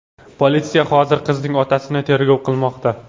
Politsiya hozirda qizning otasini tergov qilmoqda.